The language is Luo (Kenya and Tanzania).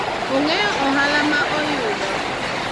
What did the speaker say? ong'eyo ohala ma oyudo